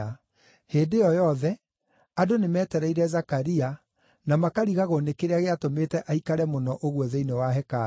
Hĩndĩ ĩyo yothe, andũ nĩmetereire Zakaria na makarigagwo nĩ kĩrĩa gĩatũmĩte aikare mũno ũguo thĩinĩ wa hekarũ.